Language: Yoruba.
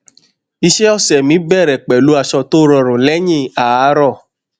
iṣẹ ọsẹ mi bẹrẹ pẹlú aṣọ tó rọrùn lẹyìn àárọ